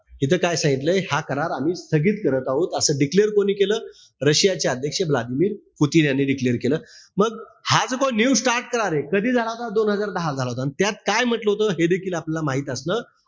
इथं काय सांगितलंय, हा करार आम्ही स्थगित करत आहोत. असं declare कोणी केलं? रशियाचे अध्यक्ष व्लादिमिर पुतीन यांनी declare केलं. मग हा जो काही न्यू स्टार्ट करारे हा कधी झाला होता? दोन हजार दहाला झाला होता. त्यात काय म्हंटल होत हे देखील आपल्याला माहित असणं,